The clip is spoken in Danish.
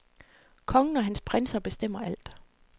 Kongen og hans prinser bestemmer alt.